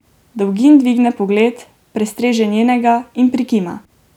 Dolgin dvigne pogled, prestreže njenega in prikima.